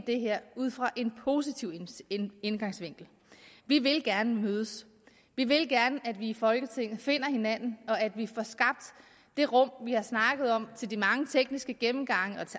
det her ud fra en positiv indgangsvinkel vi vil gerne mødes vi vil gerne at vi i folketinget finder hinanden og at vi får skabt det rum vi har snakket om til de mange tekniske gennemgange og